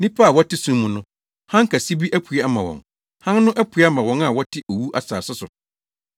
nnipa a wɔte sum mu no, Hann kɛse bi apue ama wɔn. Hann no apue ama wɔn a wɔte owu asase so.”